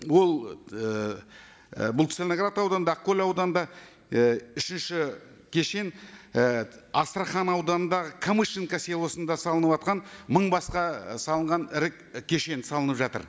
ол ыыы бұл целиноград ауданында ақкөл ауданында і үшінші кешен і астрахань ауданындағы камышинка селосында салыныватқан мың басқа салынған ірі кешен салынып жатыр